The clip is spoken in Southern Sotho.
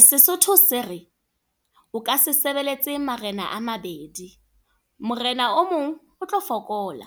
Sesotho se re, o ka se sebeletse marena a mabedi. Morena o mong o tlo fokola.